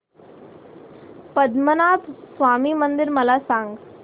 पद्मनाभ स्वामी मंदिर मला सांग